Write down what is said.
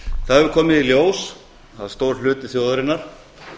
það hefur komið í ljós að stór hluti þjóðarinnar